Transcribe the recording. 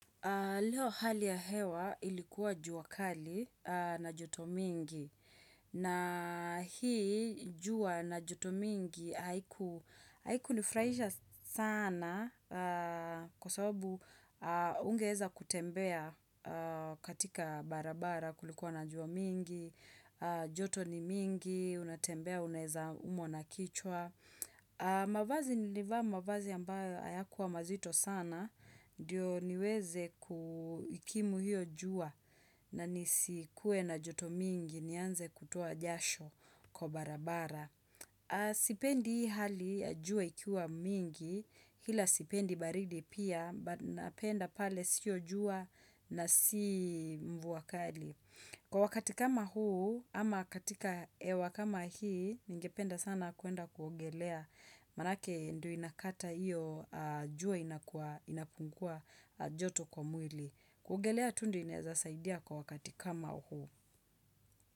Leo hali ya hewa ilikuwa jua kali na joto mingi na hii jua na joto mingi haikunifraisha sana kwa sababu ungeweza kutembea katika barabara kulikuwa na juaa mingi, joto ni mingi, unatembea, unaeza umwa na kichwa. Mavazi nilivaa mavazi ambayo hayakuwa mazito sana Ndiyo niweze kuikimu hiyo jua na nisikue na joto mingi nianze kutoa jasho kwa barabara Sipendi hii hali jua ikiwa mingi ila sipendi baridi pia but Napenda pale sio jua na si mvua kali Kwa wakati kama huu ama katika hewa kama hii Ningependa sana kuenda kuogelea, manake ndio inakata iyo, jua inakua inapungua joto kwa mwili. Kuogelea tu ndio inaezasaidia kwa wakati kama huu.